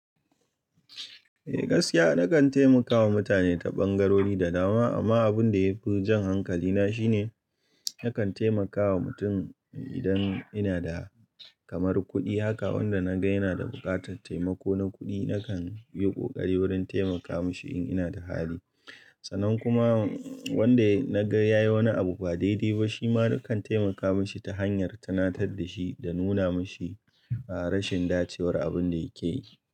Eh gaskiya nakan taimakawa mutane ta ɓangarori da dama amma abun da yafi jan hankalina shine nakan taimakawa mutum idan ina da kamar kuɗi haka wanda naga yana da buƙatar taimako na kuɗi nakan yi ƙoƙari wurin taimaka mashi in ina da hali. Sannan kuma wanda naga yayi wani abu ba daidai ba shima nakan taimaka mashi ta hanyar tunatar da shi da nuna mashi rashin dacewar abun da yake yi.